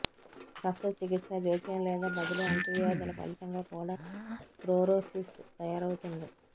శస్త్రచికిత్సా జోక్యం లేదా బదిలీ అంటువ్యాధుల ఫలితంగా కూడా క్రోరోసిస్ తయారవుతుంది